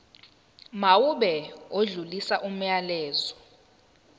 mawube odlulisa umyalezo